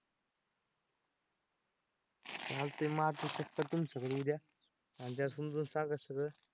चालतंय मारतो चक्कर तुमच्याकडे उद्या आणि त्याला समजून सांगा सगळं.